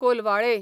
Colvale